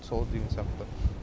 солай деген сияқты